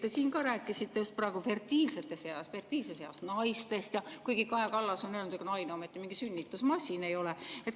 Te siin ka rääkisite just praegu fertiilses eas naistest, kuigi Kaja Kallas on öelnud, et ega naine ometi mingi sünnitusmasin ei ole.